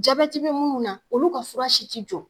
Jabɛti bɛ munnu na, olu ka fura si ti jɔ.